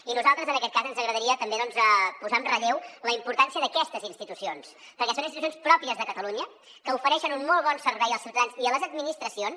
i a nosaltres en aquest cas ens agradaria també posar en relleu la importància d’aquestes institucions perquè són institucions pròpies de catalunya que ofereixen un molt bon servei als ciutadans i a les administracions